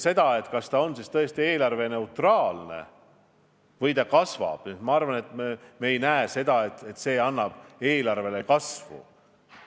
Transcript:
Aga kas see on eelarveneutraalne või eelarve kasvaks – ma arvan, et me ei näe seda, et see eelarvet kasvatab.